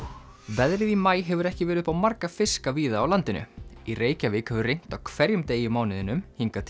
veðrið í maí hefur ekki verið upp á marga fiska víða á landinu í Reykjavík hefur rignt á hverjum degi í mánuðinum hingað